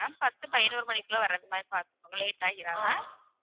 ma'am பத்து பதினோரு மணிக்குள்ள வரதுமாதிரி பாத்துக்கோங்க late ஆகிராம